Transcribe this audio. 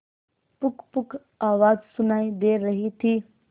पुकपुक आवाज सुनाई दे रही थी